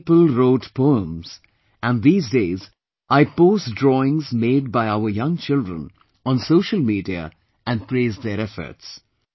Many people wrote poems and these days I post drawings made by our young children on social media and praise their efforts